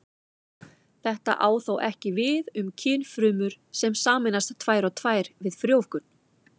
Þetta á þó ekki við um kynfrumur sem sameinast tvær og tvær við frjóvgun.